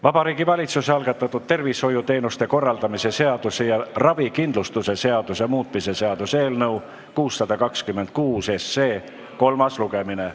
Vabariigi Valitsuse algatatud tervishoiuteenuste korraldamise seaduse ja ravikindlustuse seaduse muutmise seaduse eelnõu 626 kolmas lugemine.